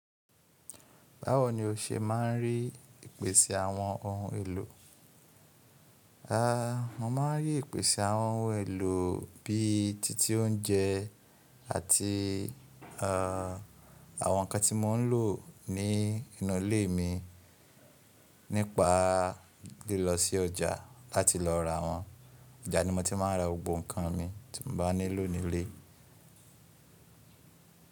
Báwo ni o ṣe máa ń rí ìpèsè àwọn ohun èlò? Rárá, mo máa ń rí ìpèsè àwọn ohun èlò bíi títí oúnjẹ àti ah àwọn ǹkan tí mò ń lò ní inú ilé mi nípa lílọ sí ọjà láti lọ ra wọn. Ọjà ni mo ti máa ń ra gbogbo ǹkan mi tí mo bá nílò ní ilé.